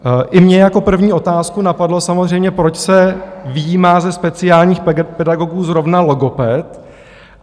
I mě jako první otázku napadlo samozřejmě, proč se vyjímá ze speciálních pedagogů zrovna logoped?